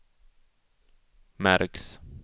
märks